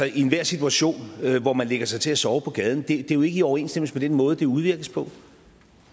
i enhver situation hvor man lægger sig til at sove på gaden det er jo ikke i overensstemmelse med den måde det udvirkes på